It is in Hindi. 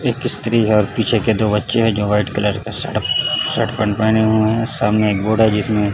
एक स्त्री और पीछे के दो बच्चे है जो वाइट कलर में शर्ट शर्ट पैंट पहने हुए है सामने एक बोर्ड है जिसमें --